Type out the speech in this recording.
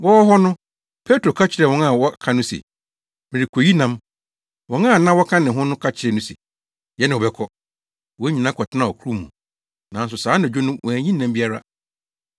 Wɔwɔ hɔ no, Petro ka kyerɛɛ wɔn a wɔaka no se, “Merekoyi nam.” Wɔn a na wɔka ne ho no ka kyerɛɛ no se, “Yɛne wo bɛkɔ.” Wɔn nyinaa kɔtenaa ɔkorow mu, nanso saa anadwo no wɔanyi nam biara.